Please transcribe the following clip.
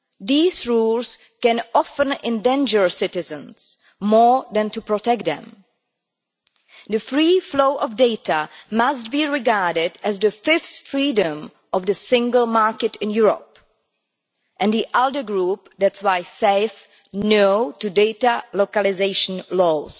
These rules can often endanger citizens more than protect them. The free flow of data must be regarded as the fifth freedom of the Single Market in Europe and the ALDE group therefore says no' to data localisation laws.